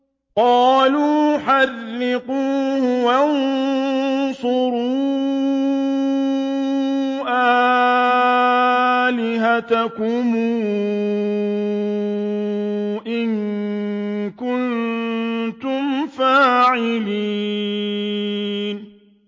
قَالُوا حَرِّقُوهُ وَانصُرُوا آلِهَتَكُمْ إِن كُنتُمْ فَاعِلِينَ